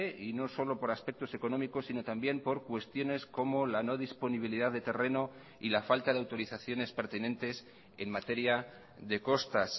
y no solo por aspectos económicos sino también por cuestiones como la no disponibilidad de terreno y la falta de autorizaciones pertinentes en materia de costas